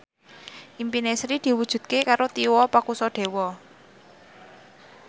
impine Sri diwujudke karo Tio Pakusadewo